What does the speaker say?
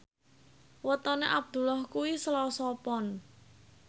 wetone Abdullah kuwi Selasa Pon